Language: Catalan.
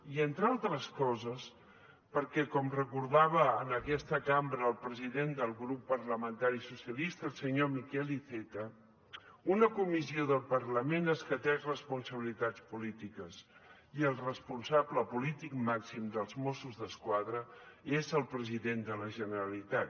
i entre altres coses perquè com recordava en aquesta cambra el president del grup parlamentari socialistes el senyor miquel iceta una comissió del parlament escateix responsabilitats polítiques i el responsable polític màxim dels mossos d’esquadra és el president de la generalitat